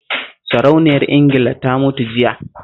Sarauniyar Ingila ta mutu jiya